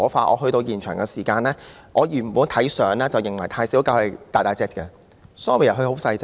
我抵達現場時，原本以為"泰小狗"的身型是很大的，但原來牠只是很細小。